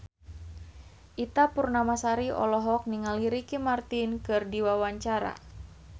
Ita Purnamasari olohok ningali Ricky Martin keur diwawancara